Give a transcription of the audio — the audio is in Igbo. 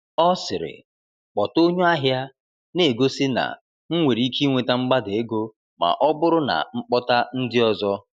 Ọ sịrị, “kpọta onye ahịa,” na-egosi na m nwere ike inweta mgbada ego ma ọ bụrụ na m kpọta ndị ọzọ.